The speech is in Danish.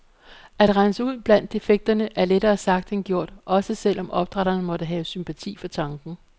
At rense ud blandt defekterne er lettere sagt end gjort, også selv om opdrætterne måtte have sympati for tanken.